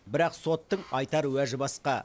бірақ соттың айтар уәжі басқа